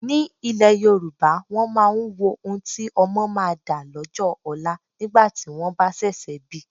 Ní ile Yorùbá, wọn máa ń wo ohun tí ọmọ máa dà lọ́jọ́ ọlá nígbà tí wọ́n bá ṣẹ̀ṣẹ̀ bi.